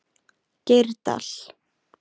Geirdal